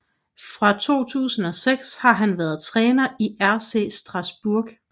Fra 2006 har han været træner i RC Strasbourg